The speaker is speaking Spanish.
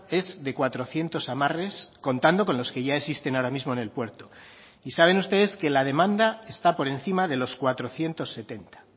es de cuatrocientos amarres contando con los que ya existen ahora mismo en el puerto y saben ustedes que la demanda está por encima de los cuatrocientos setenta